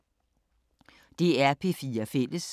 DR P4 Fælles